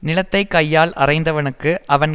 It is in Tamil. நிலத்தை கையால் அறைந்தவனுக்கு அவன்